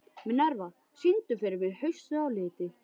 Minerva, syngdu fyrir mig „Haustið á liti“.